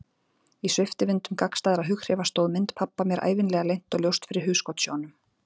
Í sviptivindum gagnstæðra hughrifa stóð mynd pabba mér ævinlega leynt og ljóst fyrir hugskotssjónum.